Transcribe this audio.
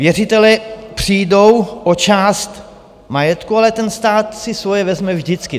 Věřitelé přijdou o část majetku, ale ten stát si svoje vezme vždycky.